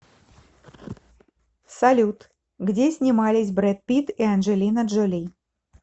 салют где снимались бред питт и анджелина джоли